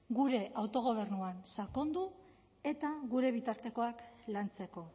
gure autogobernuan sakondu eta gure bitartekoak lantzeko